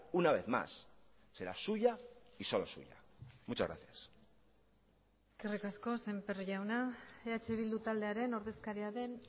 una vez más será suya y solo suya muchas gracias eskerrik asko sémper jauna eh bildu taldearen ordezkaria den